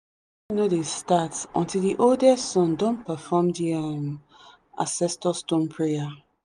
farming no dey start until the oldest son don perform the um ancestor stone prayer.